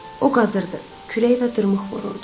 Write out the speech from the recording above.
O qazırdı, kürək və dırmıq vururdu.